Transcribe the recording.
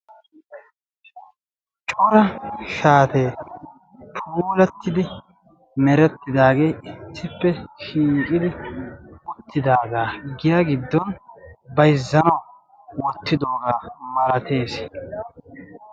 corra shaate puulatidi meretidage issipe shiishidi giyaani bayzanaw shiishidoge beettessi.